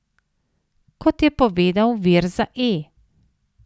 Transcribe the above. Kot je povedal vir za E!